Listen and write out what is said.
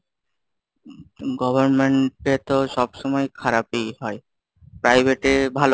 government এ তো সবসময়ই খারাপই হয় private এ!